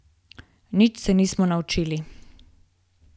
Nič se nismo naučili!